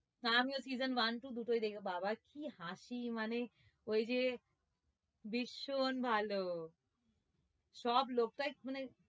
হ্যাঁ আমিও season one two দুটোই বাবা কি হাসি মানে ওইযে ভীষণ ভালো সব লোকটাই মানে